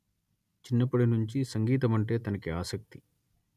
చిన్నప్పటి నుంచి సంగీతమంటే తనకి ఆసక్తి